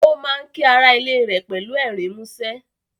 Ó má ń kí ará ilé rẹ̀ pẹ̀lú ẹ̀rín mú ṣẹ́